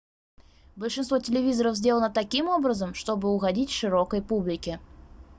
большинство телевизоров сделано таким образом чтобы угодить широкой публике